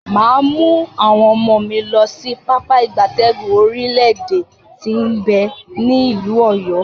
Maa mu awon omo mi losi Pápá ìgbatẹ́gùn orile ede ti n be ni ilu Oyo.